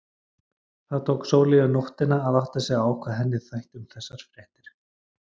Það tók Sóleyju nóttina að átta sig á hvað henni þætti um þessar fréttir.